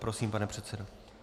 Prosím, pane předsedo.